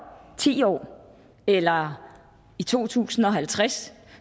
ti år eller i to tusind og halvtreds